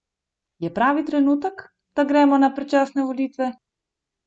Je pravi trenutek, da gremo na predčasne volitve?